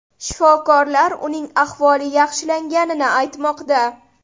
Shifokorlar uning ahvoli yaxshilanganini aytmoqda.